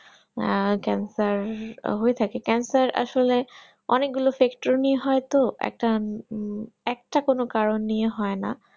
আহ cancer হয়ে থাকে cancer আসলে অনেক গুলো sector নিয়ে হয়তো একটা হম কোনো কারণ নিয়ে হয় না